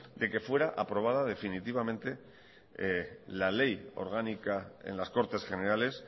de que fuera aprobada definitivamente la ley orgánica en las cortes generales